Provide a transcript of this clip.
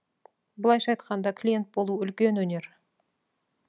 былайша айтқанда клиент болу үлкен өнер